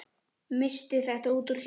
Missti þetta út úr sér.